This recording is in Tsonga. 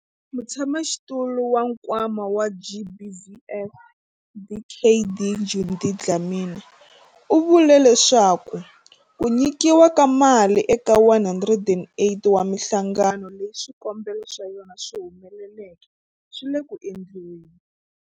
Mutshamaxitulu wa Nkwama wa GBVF, Dkd Judy Dlamini, u vule leswaku ku nyikiwa ka mali eka 108 wa mihlangano leyi swikombelo swa yona swi humeleleke swi le ku endliweni.